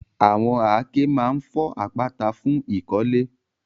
Àwọn àáké máa ń fọ́ àpáta fún ìkọ́lé.